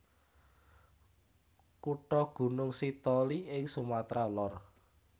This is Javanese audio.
Kutha Gunung Sitoli ing Sumatra Lor